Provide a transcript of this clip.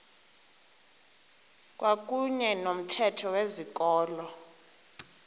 kwakuyne nomthetho wezikolo